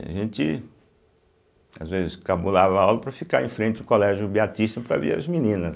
A gente, às vezes, cabulava a aula para ficar em frente ao Colégio Beatista para ver as meninas.